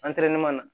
na